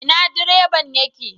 Ina direban yake